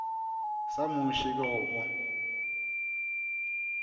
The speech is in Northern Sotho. sa muši ke go o